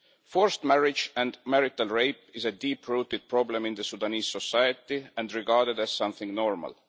Forced marriage and marital rape is a deep rooted problem in Sudanese society and regarded as something normal.